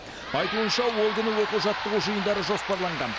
айтуынша ол күні оқу жаттығу жиындары жоспарланған